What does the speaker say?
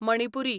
Manipuri